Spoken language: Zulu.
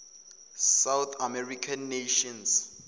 south american nations